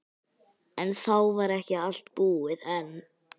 En þá var ekki allt búið enn.